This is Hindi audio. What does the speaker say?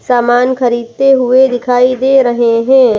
सामान खरीदते हुए दिखाई दे रहे हैं।